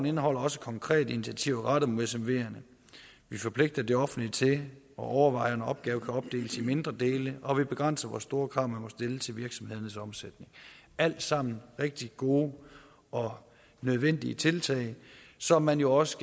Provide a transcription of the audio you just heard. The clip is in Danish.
indeholder også konkrete initiativer rettet mod smverne vi forpligter det offentlige til at overveje om en opgave kan opdeles i mindre dele og vi begrænser hvor store krav man må stille til virksomhedernes omsætning alt sammen rigtig gode og nødvendige tiltag som man jo også